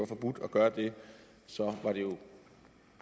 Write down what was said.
forbudt at gøre det var det jo